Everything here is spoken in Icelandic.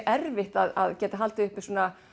erfitt að geta haldið uppi